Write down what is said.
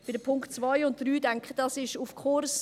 Bei den Punkten 2 und 3, da denke ich, dies ist auf Kurs.